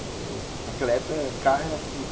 Naquela época, carro era tudo.